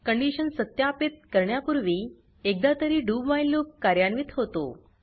condition सत्यापित करण्यापूर्वी एकदातरी doव्हाईल लूप कार्यान्वित होतो